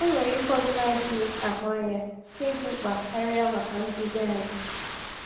Enwere ike ọzọ na-adịghị ahụ anya nke dị mkpa karịa maka nduzi anyị.